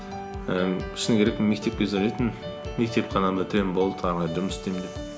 ііі шыны керек мектеп кезде ойлайтынмын мектеп қана бітіремін болды әрі қарай жұмыс істеймін деп